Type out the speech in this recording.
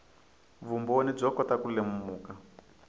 vumbhoni byo kota ku lemuka